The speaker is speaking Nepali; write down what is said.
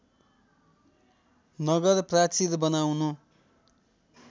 नगर प्राचीर बनाउनु